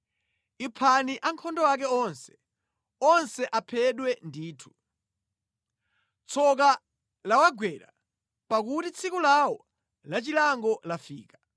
Iphani ankhondo ake onse. Onse aphedwe ndithu. Tsoka lawagwera pakuti tsiku lawo lachilango lafika.